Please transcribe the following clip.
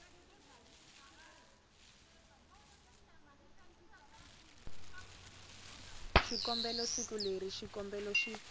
xikombelo siku leri xikombelo xi